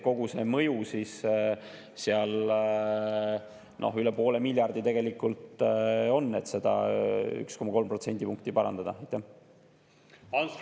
Kogu see mõju on üle poole miljardi tegelikult, et seda 1,3 protsendipunkti.